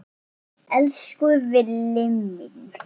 Elsku Villi.